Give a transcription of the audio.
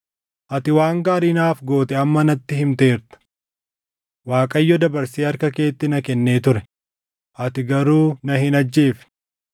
Ati waan gaarii naaf goote amma natti himteerta; Waaqayyo dabarsee harka keetti na kennee ture; ati garuu na hin ajjeefne.